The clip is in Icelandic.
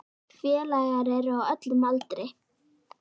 Félagar eru á öllum aldri.